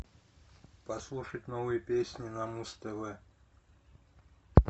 послушать новые песни на муз тв